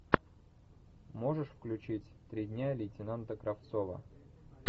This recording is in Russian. можешь включить три дня лейтенанта кравцова